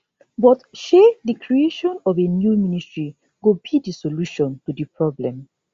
but shey di creation of a new ministry go be di solution to di problem